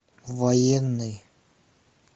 военный